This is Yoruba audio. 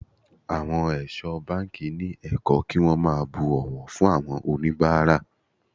Àwọn ẹ̀ṣọ́ báńkì ni ẹ̀kọ́ kí wón máa bu ọ̀wọ̀ fún oníbàárà.